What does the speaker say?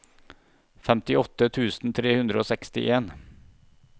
femtiåtte tusen tre hundre og sekstien